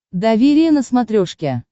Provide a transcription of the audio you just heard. доверие на смотрешке